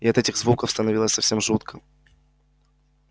и от этих звуков становилось совсем жутко